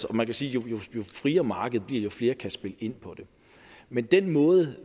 og man kan sige at jo friere markedet bliver jo flere kan spille ind på det men den måde